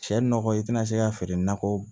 Cɛ nɔgɔ i tɛna se k'a feere nakɔ